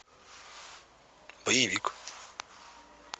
боевик